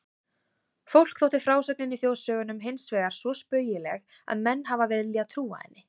Fólki þótti frásögnin í þjóðsögunum hinsvegar svo spaugileg að menn hafa viljað trúa henni.